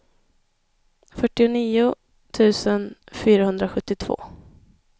fyrtionio tusen fyrahundrasjuttiotvå